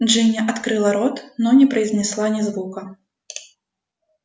джинни открыла рот но не произнесла ни звука